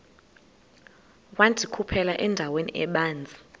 wandikhuphela endaweni ebanzi